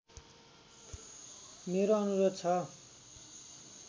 मेरो अनुरोध छ